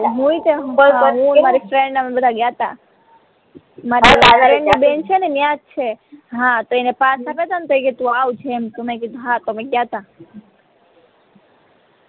friend અમે બદ્ધાગયાતા ન્યાજ છે હા તો અને પાસ આપ્યા હતા ને તો એ કે ટુ આવજે એમ તો મે કીધુ હા તો અમે ગયાતા